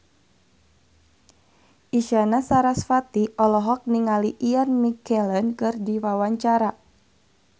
Isyana Sarasvati olohok ningali Ian McKellen keur diwawancara